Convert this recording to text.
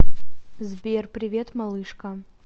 сбер привет малышка